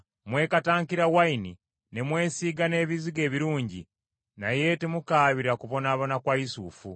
Mwekatankira wayini, ne mwesiiga n’ebizigo ebirungi, naye temukaabira kubonaabona kwa Yusufu.